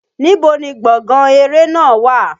Níbo ni gbọ̀ngán eré náà wà?